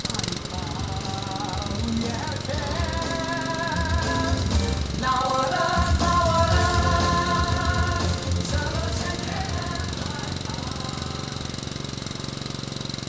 ай хау еркем наурыз наурыз